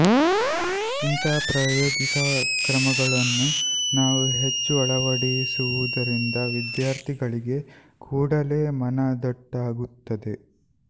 ಇಂಥ ಪ್ರಾಯೋಗಿಕ ಕ್ರಮಗಳನ್ನು ನಾವು ಹೆಚ್ಚು ಆಳವಡಿಸುವುದರಿಂದ ವಿದ್ಯಾರ್ಥಿಗಳಿಗೆ ಕೂಡಲೇ ಮನ ದಟ್ಟಾಗುತ್ತದೆ